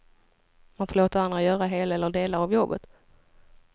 Man får låta andra göra hela eller delar av jobbet.